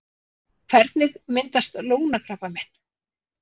Hvernig myndast lungnakrabbamein?